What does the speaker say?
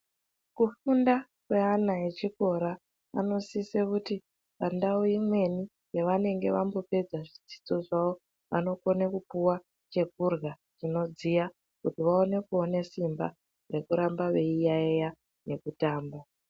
Kufunda kweana echikora, anosise kuti pandau imweni yevanenge vambopedza zvidzidzo zvavo, vanokone kupiwa chekurya chinodziya kuti vaone kuona simba rekuramba veiyaiya nekutamba.